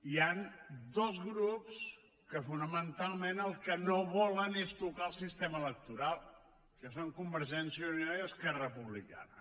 hi han dos grups que fonamentalment el que no volen és tocar el sistema electoral que són convergència i unió i esquerra republicana